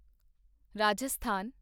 Rajasthan